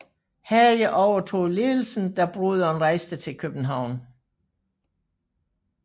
Hage overtog ledelsen da broderen rejste til København